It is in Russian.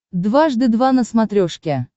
дважды два на смотрешке